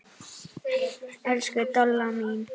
Elsku Dolla mín.